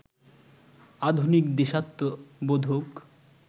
আধুনিক, দেশাত্মবোধক